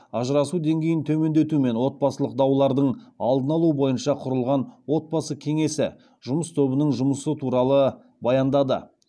ажырасу деңгейін төмендету мен отбасылық даулардың алдын алу бойынша құрылған отбасы кеңесі жұмыс тобының жұмысы туралы баяндады